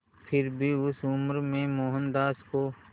फिर भी उस उम्र में मोहनदास को